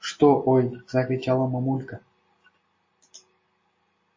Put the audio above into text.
что ой закричала мамулька